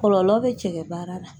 Kɔlɔlɔ bɛ cɛkɛ baara la.